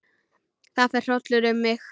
Það fer hrollur um mig.